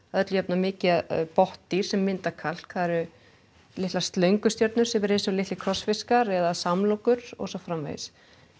mikið botndýr sem mynda kalk það eru litlar slöngustjörnur sem eru eins og litlir krossfiskar eða samlokur og svo framvegis